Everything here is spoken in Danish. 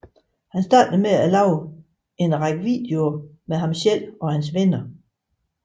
Han startede med at lave en række videoer med ham selv og hans venner